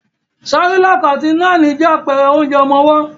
Cerelac àti Nan je àpẹrẹ onjẹ ọmọwọ́.